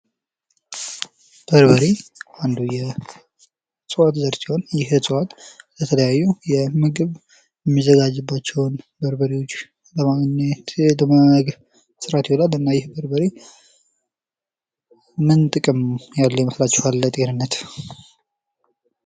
በርበሬ አንዱ የእጽዋት ዘር ሲሆን ይህ ዕጽዋት ለተለያዩ የምግብ የሚዘጋጁባቸውን በርበሬዎች ለመስራት ይውላል እና ይህ በርበሬ ምን ጥቅም ያለው ይመስላችኋል ለጤንነት?